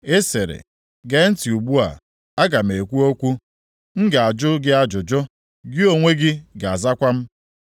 “Ị sịrị, ‘Gee ntị ugbu a, aga m ekwu okwu; m ga-ajụ gị ajụjụ, gị onwe gị ga-azakwa m.’